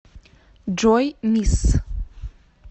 джой мисс